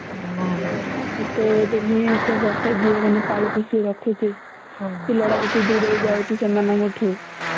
ଏତେ ଦେଲି ଏତେ ପାଳି ପଶିକି ରଖୁଥିଲି ପିଲାଟା ଯଦି ଦୁରେଇ ଯାଉଛି ସେମାନଙ୍କ ଠୁ ହୁଁ